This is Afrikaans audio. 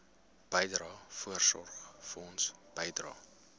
bydrae voorsorgfonds bydrae